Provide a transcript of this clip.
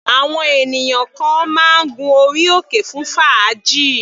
Àwọn ènìyàn kan máa ń gun orí òkè fún fàájì.